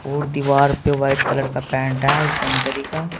और दीवार पे वाइट कलर का पेंट है और संतरी का।